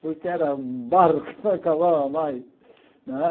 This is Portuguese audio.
porque era um barro que não acabava mais. Não é